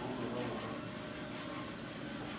bo šoro bjona bo ka